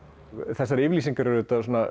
þessar yfirlýsingar eru